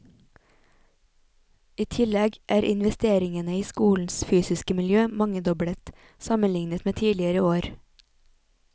I tillegg er investeringene i skolens fysiske miljø mangedoblet, sammenlignet med tidligere år.